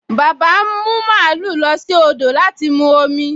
Bàbá ń mú màlúù lọ sí odò láti mu omi